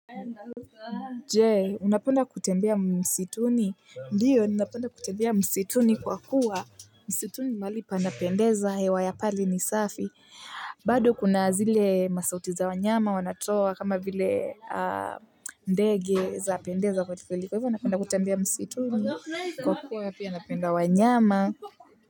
Je, unapenda kutembea msituni? Ndio, ninapenda kutembea msituni kwa kuwa msituni mahali panapendeza hewa ya pale ni safi. Bado kuna zile masauti za wanyama wanatoa kama vile ndege zapendeza kwelikweli. Kwa hivyo napenda kutembea msituni kwa kuwa pia napenda wanyama.